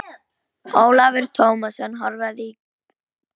Ólafur Tómasson horfði í gaupnir sér og þagði.